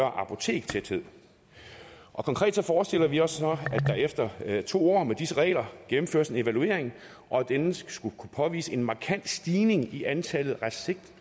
af apotekstæthed konkret forestiller vi os så at der efter to år med disse regler gennemføres en evaluering og at denne skulle kunne påvise en markant stigning i antallet